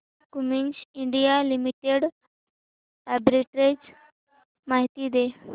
Cummins India limited arbitrage माहिती दे